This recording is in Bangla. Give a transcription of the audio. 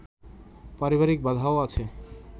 পারিবারিক বাধাও আছে